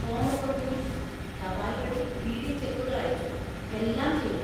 ഫോമൊക്കെ പൂരിപ്പിച്ചു, തപാൽ വഴി ഡി.ഡി ചെക്കുകൾ അയച്ചു, എല്ലാം ചെയ്തു.